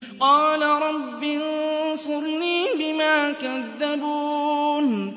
قَالَ رَبِّ انصُرْنِي بِمَا كَذَّبُونِ